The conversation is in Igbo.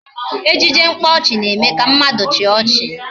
Ejije mkpaọchị na-eme ka mmadụ chịa ọchị